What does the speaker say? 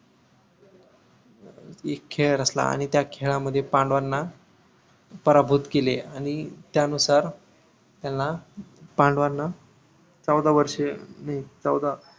एक खेळ रचला आणि त्या खेळामध्ये पांडवांना पराभूत केले आणि त्या नुसार त्यांना पांडवाना चौदा वर्ष नाही चौदा